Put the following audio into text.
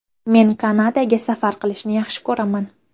Men Kanadaga safar qilishni yaxshi ko‘raman.